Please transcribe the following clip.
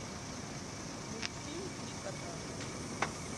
мультфильм три кота